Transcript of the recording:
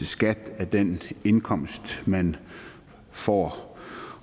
skat af den indkomst man får